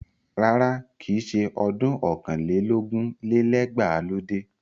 Rárá, kìí ṣe ọdún ọ̀kàn lé lógún lé lẹ́gbàá ló dé.